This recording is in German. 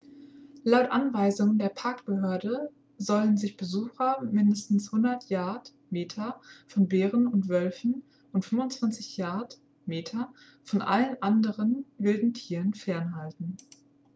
laut anweisung der parkbehörde sollen sich besucher mindestens 100 yard/meter von bären und wölfen und 25 yard/meter von allen anderen wilden tieren fernhalten!